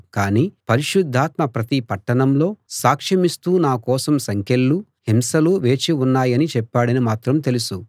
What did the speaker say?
కానీ పరిశుద్ధాత్మ ప్రతి పట్టణంలో సాక్షమిస్తూ నా కోసం సంకెళ్ళు హింసలూ వేచి ఉన్నాయని చెప్పాడని మాత్రం తెలుసు